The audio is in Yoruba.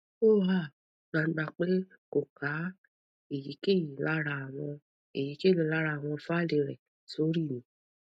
o han gbangba pe ko ka eyikeyi lara awon eyikeyi lara awon faili re sori mi